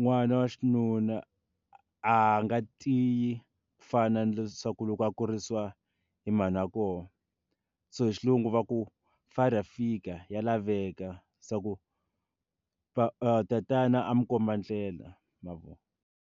n'wana wa xinuna a nga tiyi ku fana na leswaku loko a kurisiwa hi mhani wa kona so hi xilungu va ku father figure ya laveka swa ku tatana a n'wi komba ndlela ma vo.